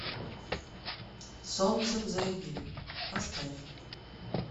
солнце взойди поставь